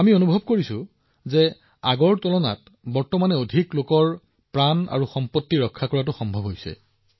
আমি এতিয়া অনুভৱ কৰোঁ যে আমি পূৰ্বৰ বৰ্ষসমূহতকৈ অধিক জীৱন ৰক্ষা কৰিবলৈ সমৰ্থ হৈছো